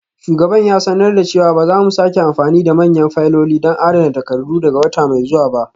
Shugaban ya sanar da cewa ba za mu sake amfani da manyan fayiloli don adana takardu daga wata mai zuwa ba.